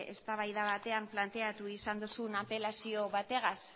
eztabaida batean planteatu izan duzun apelazio batekin